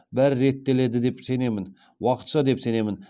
бәрі реттеледі деп сенемін уақытша деп сенемін